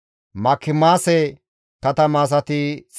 Imere zereththati 1,052,